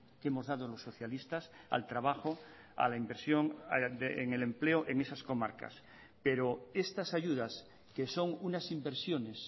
que hemos dado los socialistas al trabajo a la inversión en el empleo en esas comarcas pero estas ayudas que son unas inversiones